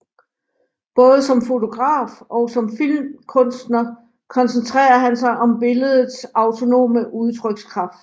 Både som fotograf og som filmkunstner koncentrerer han sig om billedets autonome udtrykskraft